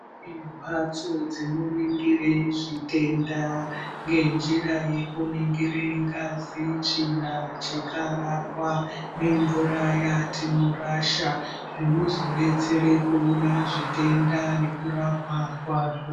Kune mbatso dzinoningire zvitenda ngenjira yekuningire ngazi, tsvina nechikararwa, nemvura dzatinorasha zvinozodetsera kuona zvitenda nekurapwa kwazvo.